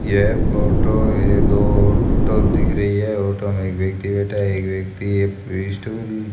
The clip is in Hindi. यह फोटो ये दो ऑटो दिख रही है ऑटो में एक व्यक्ति बैठा है एक व्यक्ति ये स्टूल --